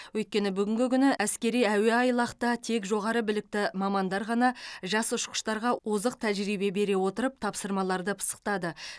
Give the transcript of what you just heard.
өйткені бүгінгі күні әскери әуеайлақта тек жоғары білікті мамандар ғана жас ұшқыштарға озық тәжірибе бере отырып тапсырмаларды пысықтады